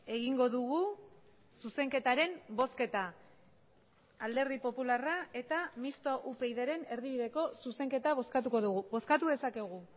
egingo dugu zuzenketaren bozketa alderdi popularra eta mistoa upydren erdibideko zuzenketa bozkatuko dugu bozkatu dezakegu